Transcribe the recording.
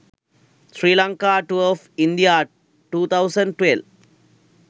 sri lanka tour of india 2012